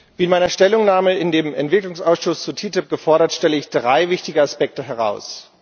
Wie in meiner Stellungnahme im Entwicklungsausschuss zu TTIP gefordert, stelle ich drei wichtige Aspekte heraus.